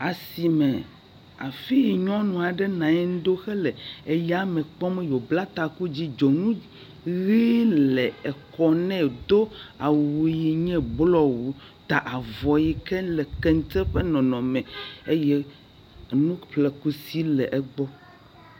Asime afi yi nyɔnu aɖe nɔ anyi ɖo hele eyame kpɔm yi wo bla ta, taku dzɛ̃, dzonu ʋi le kɔ nɛ wo do yi nye blɔwu ta avɔ yi ke ne le kente ƒe nɔnɔme me eye enu ƒlekusi le egbɔ.